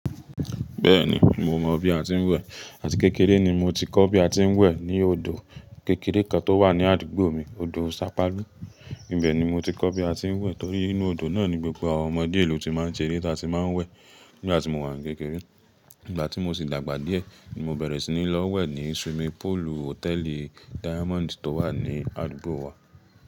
Bẹ́ẹ̀ni, mo mọ bí a ti ń wẹ̀. Àti kékeré ni mo ti kọ́ bí a ti ń wẹ̀ ní odò kékeré kan tó wà ní àdúgbò mi, Odò Sápálu. Nibẹ̀ ni mo ti kọ́ bí a ti ń wẹ̀ torí inú odò náà ni gbogbo àwọn ọmọdé ìlú ti máa ń ṣeré tá a ti máa ń wẹ̀ nígbà tí mo wà ní kékeré. Nígbà tí mo sì dàgbà díẹ̀, ni mo bẹ̀rẹ̀ sí ní lọ wẹ̀ ní swimming pool hòtẹ́ẹ̀lì Diamond tó wà ní àdúgbò wa.